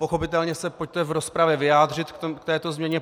Pochopitelně se pojďte v rozpravě vyjádřit k této změně.